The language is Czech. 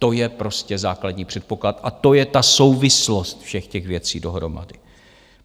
To je prostě základní předpoklad a to je ta souvislost všech těch věcí dohromady.